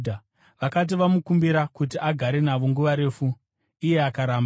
Vakati vamukumbira kuti agare navo nguva refu, iye akaramba.